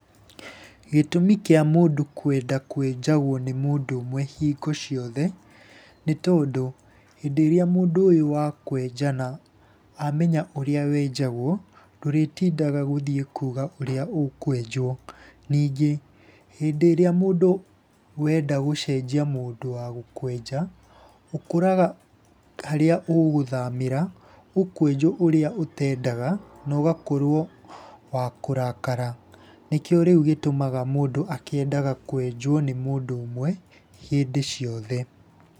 Gĩtũmi kĩa mũndũ kwenda kwenjagwo nĩ mũndũ ũmwe hingo ciothe, nĩ tondũ, hĩndĩ ĩrĩa mũndũ ũyũ akwenja na amenya ũrĩa wenjagwo, ndũrĩtindaga gũthiĩ kuga ũrĩa ũkwenjwo. Ningĩ hĩndĩ ĩrĩa mũndũ wenda gũcenjia mũndũ wa gũkwenja ũkoraga harĩa ũgũthamĩra, ũkwenjwo ũrĩa ũtendaga na ũgakorwo wa kũrakara. Nĩkĩo rĩu gĩtũmaga mũndũ akendaga kwenjwo nĩ mũndũ ũmwe hĩndĩ ciothe.